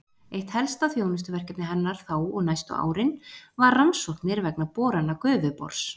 Eitt helsta þjónustuverkefni hennar þá og næstu árin var rannsóknir vegna borana Gufubors.